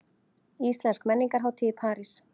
Íslensk menningarhátíð í París